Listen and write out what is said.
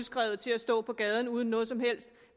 til at stå på gaden uden noget som helst